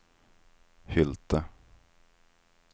Hylte